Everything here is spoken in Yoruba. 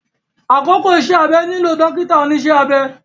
Àkókò iṣẹ́-abẹ nílò dọ́kítà oníṣẹ́ abẹ